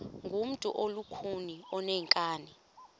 ngumntu olukhuni oneenkani